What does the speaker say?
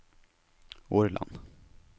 Årland